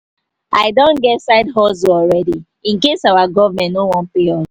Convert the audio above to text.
i don get side hustle already incase our government no wan pay us